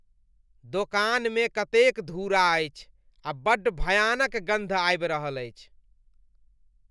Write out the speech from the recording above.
दोकानमे कतेक धूरा अछि आ बड्ड भयानक गन्ध आबि रहल अछि।